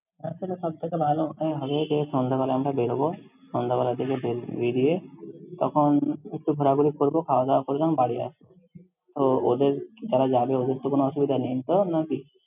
তার থেকে সবথেকে ভালো ওটাই হবে যে, সন্ধ্যাবেলা আমরা বেরবো। সন্ধ্যাবেলার দিকে বে~ বেরিয়ে তখন একটু ঘোরাঘুরি করব, খাওয়া-দাওয়া করলাম বাড়ি আসব। তো ওদের যারা যাবে ওদের তো কোনো অসুবিধা নেই তো, নাকি?